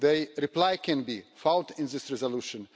The reply can be found in this resolution.